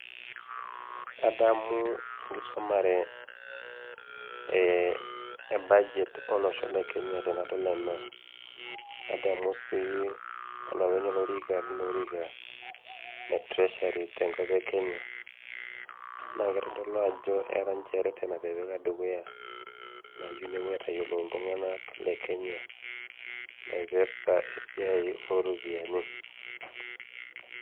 adamu enkisomare eeh, e budget olosho le kenya tenadol ena nadamu sii olopeny olorika lilo orika le treasury tenkop e kenya naa kitodolu ajo era reten natipika dukuya nayieu nepuo aitayiolo iltung'anak le kenya naipirrta esiai oropiani.